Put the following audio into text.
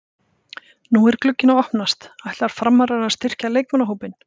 Nú er glugginn að opnast, ætla Framarar að styrkja leikmannahópinn?